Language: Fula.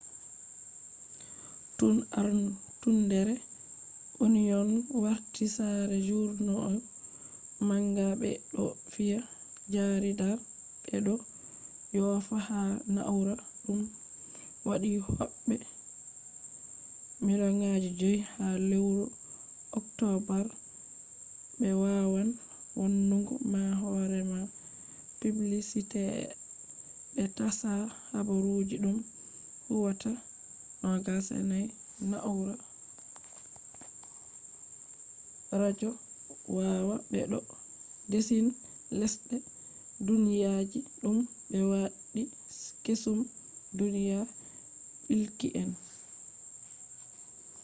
tun artundere onion warti sare jarida manga ,be do fiya jarida be do yofa ha na'ura dum waddi hobbe 5,000,000 ha lewru october be wawan wannugo ma talla horema be tasha habaru dum huwata awa 24 nau'ra redio waya be bo zane lesde duniyaji dum be waddi kesum duniya bilki en